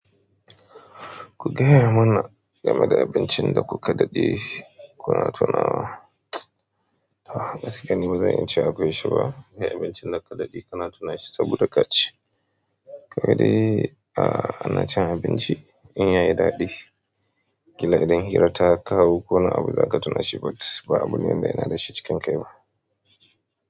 Ku gaya mana game da abincin da kuka daɗe kuna tunawa. Gaskiya ni bazan iya cewa akwai sha ba, abincin da ka daɗe kana tunashi saboda ka ci. Kawai dai a ana cin abinci in yayi daɗi, kila idan hira ta kawo ko wani abu za ka tuna shi but ba abu ne wanda yana da shi cikin kai ba.